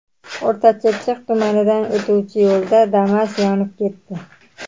O‘rta Chirchiq tumanidan o‘tuvchi yo‘lda Damas yonib ketdi.